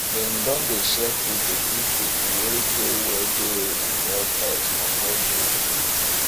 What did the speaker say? den don dey share food dey give pipu wey dey wey dey protest for toll gate